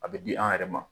A bɛ di an yɛrɛ ma